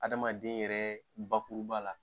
Adamaden yɛrɛ bakuruba la